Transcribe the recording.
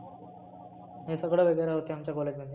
हे सगळ वगैरे होते आमच्या college मध्ये.